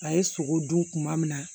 A ye sogo dun kuma min na